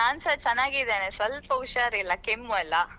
ಹಾ ನಾನ್ಸ ಚನ್ನಾಗಿದ್ದೇನೆ ಸ್ವಲ್ಪ ಹುಷಾರಿಲ್ಲಾ ಕೆಮ್ಮು ಅಲ್ಲ.